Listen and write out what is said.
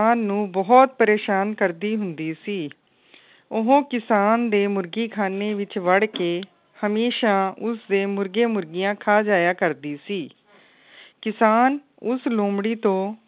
ਕਿਸਾਨ ਨੂੰ ਬੋਹਤ ਪਰੇਸ਼ਾਨ ਕਰਦੀ ਹੁੰਦੀ ਸੀ। ਉਹ ਕਿਸਾਨ ਦੇ ਮੁਰਗ਼ੀ ਖਾਨੇ ਵਿੱਚ ਵੜ ਕੇ ਹਮੇਸ਼ਾ ਉਸਦੇ ਮੁਰਗੇ ਮੁਰਗੀਆਂ ਖਾ ਜਾਇਆ ਕਰਦੀ ਸੀ। ਕਿਸਾਨ ਉਸ ਲੋਮੜ੍ਹੀ ਤੋਂ